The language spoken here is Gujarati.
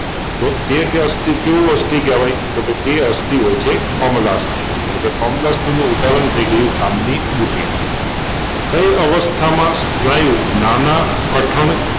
તો તે અસ્થિ કેવું અસ્થિ કેહવાય તે અસ્થિ હોય છે કોમલાસ્થિ એટલેકે કોમલાસ્થિનું ઉદાહરણ થઈ ગયું કાનની બુટી કઈ અવસ્થામાં સ્નાયુ નાનાં કઠણ